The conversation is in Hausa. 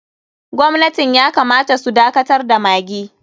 Gwamnatin ya kamata su dakatar da maggi.